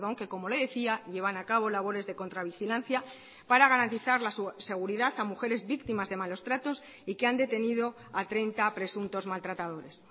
que como le decía llevan a cabo labores de contravigilancia para garantizar la seguridad a mujeres víctimas de malos tratos y que han detenido a treinta presuntos maltratadores